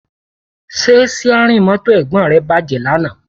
Ṣé síárìn mọ́tò Ẹ̀gbọ́n rẹ bàjẹ́ lánàá?